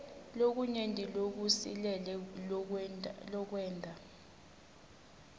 lokunyenti lokusilele lokwenta